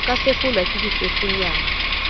ho ka fefolwa ke difefonyana